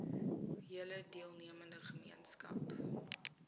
hele deelnemende gemeenskap